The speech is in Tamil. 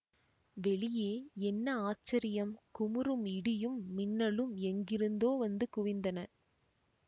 வெளியே என்ன ஆச்சரியம் குமுறும் இடியும் மின்னலும் எங்கிருந்தோ வந்து குவிந்தன